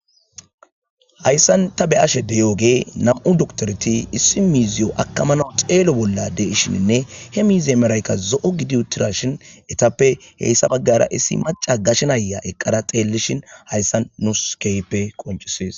hayssan ta be ashe deyooge nam7u doktorti issi miiziyo akamana xeelo bolla de ishininne he miiziy merayka zo7o gidiutirashin etappe heyssa baggara issi maca gashenaya eqqada xeellishin hayssan nus keype qoncisiis